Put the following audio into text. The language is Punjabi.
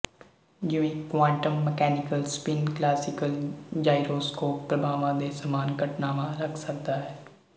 ਜਿਵੇਂ quantum mechanical spin classical gyroscope ਪ੍ਰਭਾਵਾਂ ਦੇ ਸਮਾਨ ਘਟਨਾਵਾਂ ਰੱਖ ਸਕਦਾ ਹੈ